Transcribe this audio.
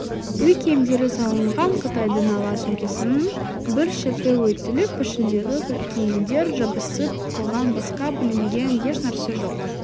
үй киімдері салынған қытайдың ала сөмкесінің бір шеті үйтіліп ішіндегі киімдер жабысып қалған басқа бүлінген ешнәрсе жоқ